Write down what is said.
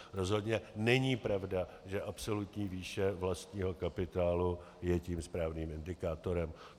Rozhodně není pravda, že absolutní výše vlastního kapitálu je tím správným indikátorem.